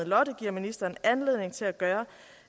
lotte giver ministeren anledning til at gøre